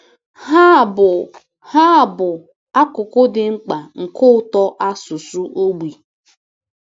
Ha bụ Ha bụ akụkụ dị mkpa nke ụtọ asụsụ ogbi.